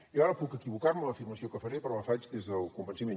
jo ara puc equivocar me en l’afirmació que faré però la faig des del convenciment